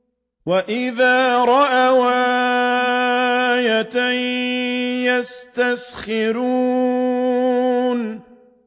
وَإِذَا رَأَوْا آيَةً يَسْتَسْخِرُونَ